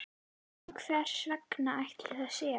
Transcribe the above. En hvers vegna ætli það sé?